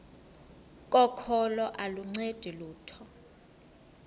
kokholo aluncedi lutho